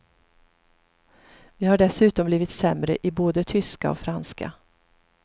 Vi har dessutom blivit sämre i både tyska och franska.